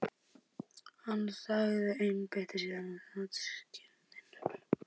Ekki þótt hún væri sjálfur guð almáttugur í pilsi.